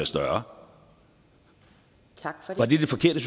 større var det det forkerte